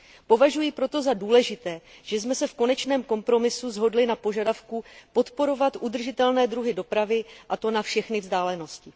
Považuji proto za důležité, že jsme se v konečném kompromisu shodli na požadavku podporovat udržitelné druhy dopravy, a to na všechny vzdálenosti.